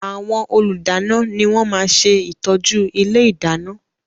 Àwọn Olùdáná ni wọ́n máa ṣe ìtọ́jú ilé ìdáná